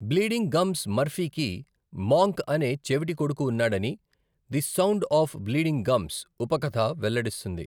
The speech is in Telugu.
బ్లీడింగ్ గమ్స్ మర్ఫీకి, మాంక్ అనే చెవిటి కొడుకు ఉన్నాడని 'the sound of bleeding gums' ఉపకథ వెల్లడిస్తుంది.